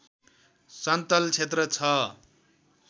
सन्तल क्षेत्र छ